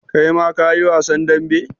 Kai ma ka yi wasan dambe?